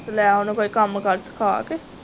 ਤੇ ਲੈ ਓਹਨੂੰ ਕੋਈ ਕੰਮ ਕਾਰ ਸਿੱਖਾਂ ਕੇ